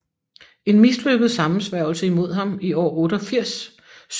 En mislykket sammensværgelse imod ham i år 88 synes at have forværret forholdene